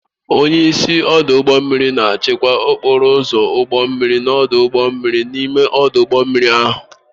Onyeisi Ọdụ ụgbọ mmiri na-achịkwa okporo ụzọ ụgbọ mmiri na ọdụ ụgbọ mmiri n'ime ọdụ ụgbọ mmiri ahụ